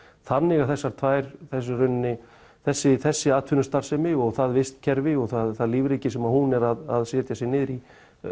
þannig að þessar tvær þessi þessi þessi atvinnustarfsemi og það vistkerfi og það lífríki sem hún er að setja sig niður í